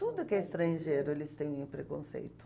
Tudo que é estrangeiro, eles têm preconceito.